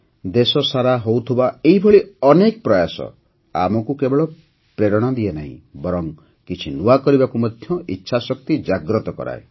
ଦେଶସାରା ହେଉଥିବା ଏହିଭଳି ଅନେକ ପ୍ରୟାସ ଆମକୁ କେବଳ ପ୍ରେରଣା ଦିଏ ନାହିଁ ବରଂ କିଛି ନୂଆ କରିବାକୁ ମଧ୍ୟ ଇଚ୍ଛାଶକ୍ତି ଜାଗ୍ରତ କରାଏ